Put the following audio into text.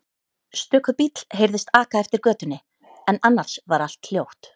Stöku bíll heyrðist aka eftir götunni en annars var allt hljótt.